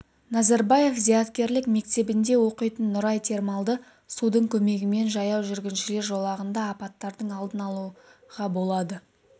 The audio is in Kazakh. назарбаев зияткерлік мектебінде оқитын нұрай термалды судың көмегімен жаяу жүргіншілер жолағында апаттардың алдын алуға болады